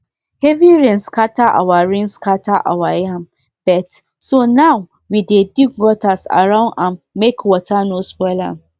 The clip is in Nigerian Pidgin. heavy rain scatter our rain scatter our yam beds so now we dey dig gutter around am make water no spoil am